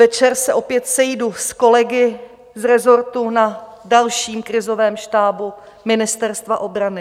Večer se opět sejdu s kolegy z resortu na dalším krizovém štábu Ministerstva obrany.